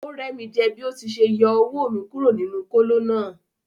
O rẹ mi jẹ bi o ti ṣe yọ owó mí kúrò nínú kolo náà.